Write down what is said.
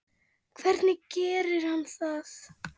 Hvernig gerir hann það?